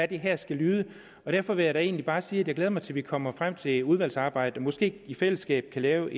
det her skal ende og derfor vil jeg da egentlig bare sige at jeg glæder mig til at vi kommer frem til udvalgsarbejdet måske kan i fællesskab lave